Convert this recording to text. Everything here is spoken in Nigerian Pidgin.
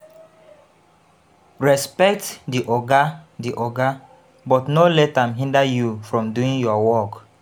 Respect di oga di oga but no let am hinder you from doing your work